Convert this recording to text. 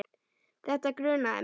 Þetta grunaði mig.